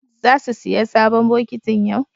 Zasu siyo sabon bokitin yau.